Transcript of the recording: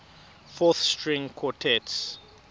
fourth string quartets